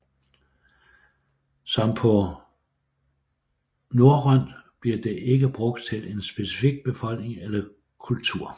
Som på norrønt bliver det ikke brugt til en specifik befolkning eller kultur